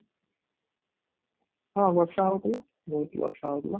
ହଁ, ବର୍ଷା ହଉଥିଲା ବହୁତ ବର୍ଷା ହଉଥିଲା